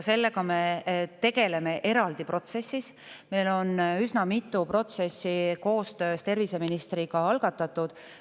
Sellega me tegeleme eraldi, meil on koostöös terviseministriga üsna mitu protsessi algatatud.